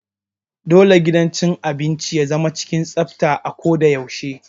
Dole gidan cin abinci ya zama cikin tsafta a ko da yaushe.